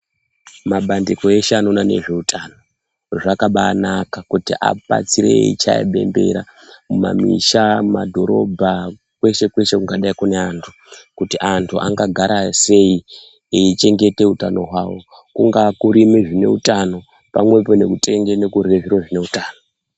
Mabandiko eshe anoona ne zveutano zvakabai naka kuti abatsire eyi chaya bembera mu mamisha mu madhorobho kweshe kweshe kunga dai kune antu kuti antu anga gara sei eyi chengete utano hwawo kungava kurime zvine utano pamwepo nekutenge nekurye zviro zvine utano.